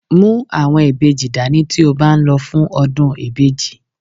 Mú àwọn ìbejì dání ti o ba n lo fún ọdún ìbejì.